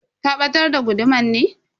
Ka batar da guduman ne?